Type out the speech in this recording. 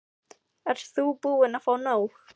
Ert þú búin að fá nóg?